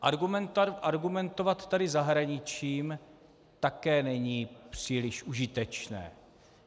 Argumentovat tady zahraničím také není příliš užitečné.